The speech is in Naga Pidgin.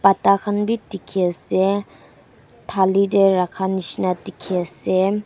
Takhan bhi dekhe ase thali dae rakha nehsina dekhe ase.